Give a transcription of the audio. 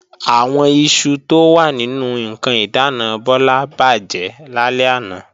Àwọn iṣu tó wà nínú ǹkan ìdáàna Bọ́lá bàjẹ́ lálẹ́ àná